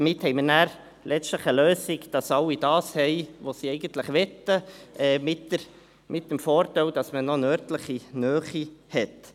Damit haben wir letztlich eine Lösung, mit der alle erhalten, was sie eigentlich möchten, mit dem Vorteil, dass man noch eine örtliche Nähe hat.